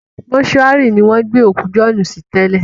Mọ́túárì ni wọ́n gbé òkú Jọ̀ọ́ọ́nù sí tẹ́lẹ̀